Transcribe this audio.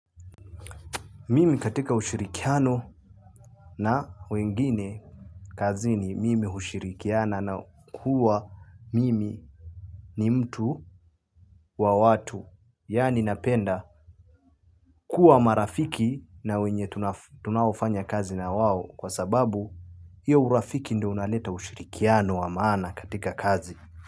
Mimi katika ushirikiano na wengine kazini mimi hushirikiana na kuwa mimi ni mtu wa watu. Yaani napenda kuwa marafiki na wenye tunaofanya kazi na wao kwa sababu hiyo urafiki ndio unaleta ushirikiano wa maana katika kazi.